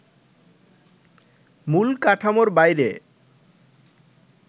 মূল কাঠামোর বাইরে